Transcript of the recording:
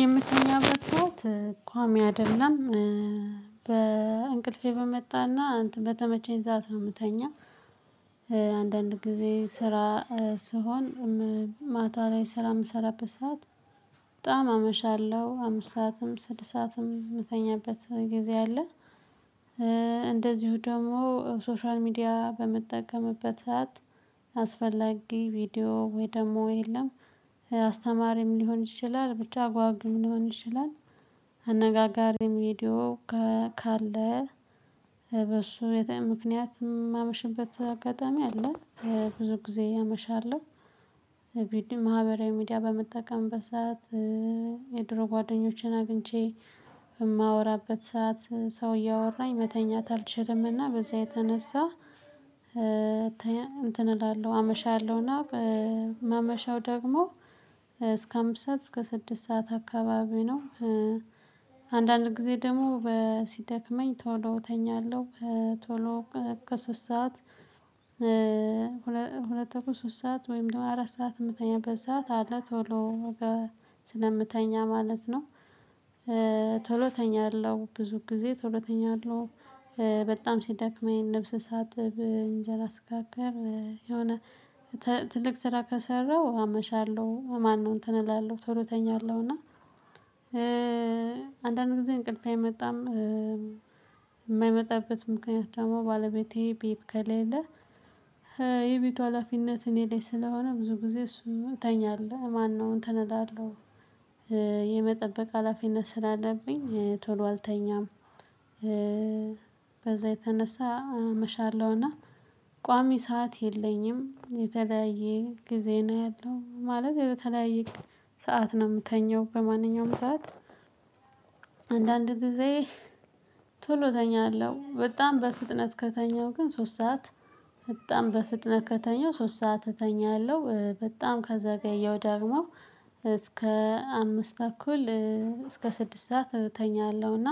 የምተኛበት ሰዓት ኳሚ አደለም በእንቅልፌ በመጣና እንትን በተመቸኝ ሰዓት ነው እምተኛው። አንዳንድ ጊዜ ስራ ስሆን ማታ ላይ ስራ ምሰራበት ሰዓት በጣም አመሻለሁ አምስት ሰዓትም ስድስት ሰዓትም ምተኛበት ጊዜ አለ። እንደዚሁ ደግሞ ሶሻል ሚዲያ በመጠቀምበት ሰዓት አስፈላጊ ቪዲዮ ወይ ደግሞ የለም። አስተማሪም ሊሆን ይችላል ብቻ አጓጊም ሊሆን ይችላል። አነጋጋሪ ቪዲዮ ካለ በሱ የተይ ምክንያት ማመሽበት አጋጣሚ አለ። ብዙ ጊዜ አመሻለሁ። ቢድም ማህበራዊ ሚዲያ በመጠቀም በሰአት የድሮ ጓደኞቼን አግኝቼ እማወራበት ሰዓት ሰው እያወራኝ መተኛት አልችልምና በዛ የተነሳ። እንትን እላለሁ አመሻለሁና እማመሸው ደግሞ እስከ አምስት ሰዓት እስከ ስድስት ሰዓት አካባቢ ነው። አንዳንድ ግዜ ደግሞ ሲደክመኝ ቶሎ እተኛለሁ። ቶሎ ከሶስት ሰዓት ሁለት ተኩል ሶስት ሰዓት ወይም ደግሞ አራት ሰዓት እተኛበት ሰዓት አለ ቶሎ ስለምተኛ ማለት ነው። ቶሎ ተኛለሁ ብዙ ጊዜ ቶሎ እተኛለሁ። በጣም ሲደክመኝ ልብስ ሳጥብ እንጀራ ስጋግር የሆነ ትልቅ ስራ ከሰራው አመሻለሁ ማነው እንትን እላለሁ ቶሎ እተኛለሁ እና አንዳንድ ጊዜ እንቅልፌ አይመጣም። የማይመጣበት ምክንያት ደግሞ ባለቤቴ ቤት ከሌለ የቤቱ ሀላፊነት እኔ ላይ ስለሆነ ብዙ ጊዜ እሱን እተኛለሁ ማነው እንትን እላሁ የመጠበቅ ሀላፊነት ስላለብኝ ቶሎ አልተኛም። በዛ የተነሳ አመሻለሁና ቋሚ ሰዓት የለኝም። የተለያየ ጊዜ ነው ያለው ማለት ያው የተለያየ ሰዓት ነው ምተኛው በማንኛውም ሰዓት። አንዳንድ ጊዜ ቶሎ እተኛለሁ በጣም በፍጥነት ከተኛው ግን ሶስት ሰዓት በጣም በፍጥነት ከተኛው ሶስት ሰዓት እተኛለሁ። በጣም ከዘገየው ደግሞ እስከ አምስት ተኩል እስከ ስድስት ሰዓት እተኛለሁና።